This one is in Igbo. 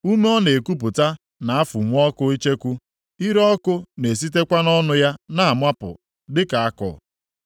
Ume ọ na-ekupụta na-afụnwu ọkụ icheku. Ire ọkụ na-esitekwa nʼọnụ ya na-amapụ dịka àkụ.